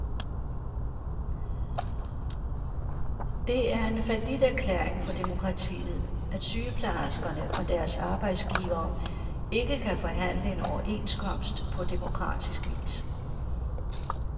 Det er en falliterklæring for demokratiet, at sygeplejerskerne og deres arbejdsgivere ikke kan forhandle en overenskomst på demokratisk vis.